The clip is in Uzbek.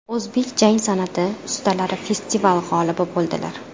O‘zbek jang san’ati ustalari festival g‘olibi bo‘ldilar.